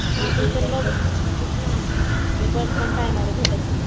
हां मी पण बघितलं होतं खूप लांब आहे आणि बस पण टायमावर भेटत नाही.